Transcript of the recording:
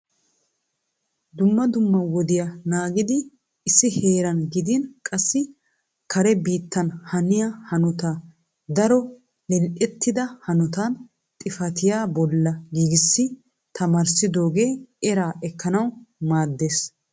Dumma dumma wodiyaa naagidi issi heeran gidin qassi kare biittan haniya hanota daro lil"ettida hanota xifatiyaa bolla giigissi attamissidooge eraa ekkanaw maaddees.